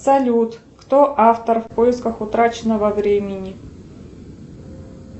салют кто автор в поисках утраченного времени